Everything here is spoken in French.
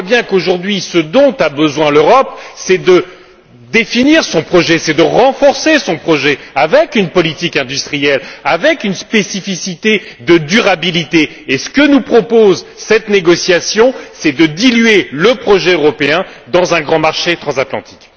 On voit bien qu'aujourd'hui, ce dont a besoin l'Europe, c'est de définir son projet, c'est de renforcer son projet avec une politique industrielle, avec une spécificité de durabilité et ce que nous propose cette négociation, c'est de diluer le projet européen dans un grand marché transatlantique.